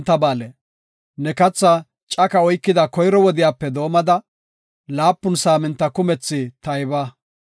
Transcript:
Ne katha caka oykida koyro wodiyape doomada, laapun saaminta kumethi tayba.